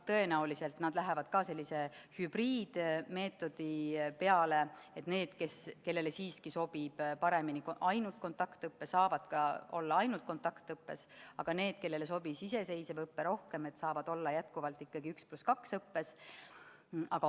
Tõenäoliselt lähevad nad üle sellisele hübriidmeetodile, mille korral need, kellele siiski sobib paremini ainult kontaktõpe, saavad olla ainult kontaktõppel, aga need, kellele sobis iseseisev õpe rohkem, saavad jätkata 1 + 2 õpet.